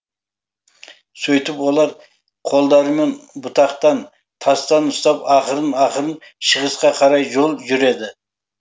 сөйтіп олар қолдарымен бұтақтан тастан ұстап ақырын ақырын шығысқа қарай жол жүреді